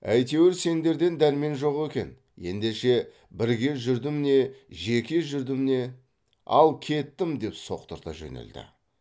әйтеуір сендерден дәрмен жоқ екен ендеше бірге жүрдім не жеке жүрдім не ал кеттім деп соқтырта жөнелді